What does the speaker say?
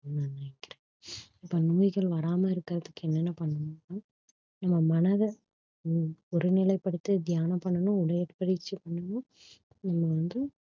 இப்ப நோய்கள் வராமல் இருக்கிறதுக்கு என்னென்ன பண்ணனும்னா நம்ம மனதை ஒ~ ஒருநிலைப்படுத்தி தியானம் பண்ணனும் உடற்பயிற்சி பண்ணனும் இது வந்து